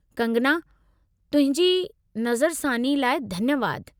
कंगना, तुंहिंजी नज़रसानी लाइ धन्यवादु।